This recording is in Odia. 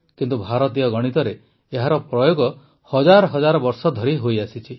କିନ୍ତୁ ଭାରତୀୟ ଗଣିତରେ ଏହାର ପ୍ରୟୋଗ ହଜାର ହଜାର ବର୍ଷ ଧରି ହୋଇଆସିଛି